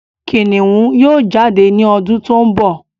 Kìnìún yóò jáde ní ọdún tó ń bọ̀